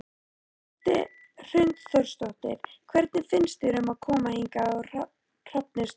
Hrund Þórsdóttir: Hvernig finnst þér að koma hingað á Hrafnistu?